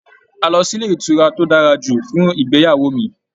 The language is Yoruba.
A lọ sílé ìtura tó dára jù fún ìgbéyàwó mí.